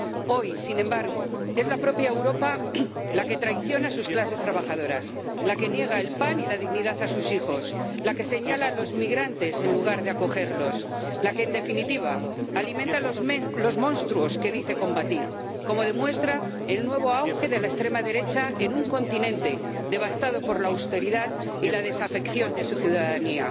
Hoy, sin embargo, es la propia Europa la que traiciona a sus clases trabajadoras, la que niega el pan y la dignidad a sus hijos, la que señala a los migrantes en lugar de acogerlos, la que, en definitiva, alimenta los monstruos que dice combatir, como demuestra el nuevo auge de la extrema derecha en un continente devastado por la austeridad y la desafección de su ciudadanía.